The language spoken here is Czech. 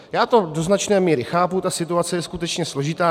Já to do značné míry chápu, ta situace je skutečně složitá.